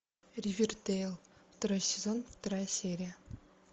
ривердэйл второй сезон вторая серия